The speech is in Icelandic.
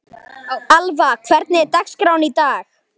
Alva, hvernig er dagskráin í dag?